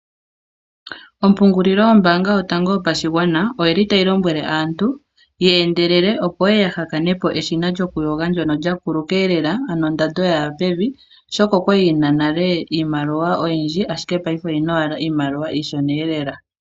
Ompungililo yombaanga yotango yopadhigwana oyi li tayi lombwele aantu ye endelele opo ye ye ya ha kanepo eshina lyokuyoga ndono lya kuluka lela ondando ya ya pevi ,Oshoka okwali li na nale iimaliwa oyindji ashike payife oyi na owala iimaliwa iishona lela.